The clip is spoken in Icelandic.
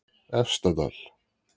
Efstadal